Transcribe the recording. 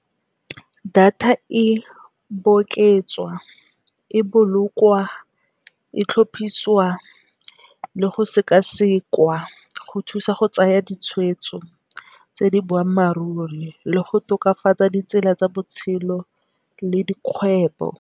Data e oketswa, e bolokwa, e tlhopisiwa, le go sekasekwa go thusa go tsaya ditshwetso tsa boammaaruri le go tokafatsa ditsela tsa botshelo le dikgwebo.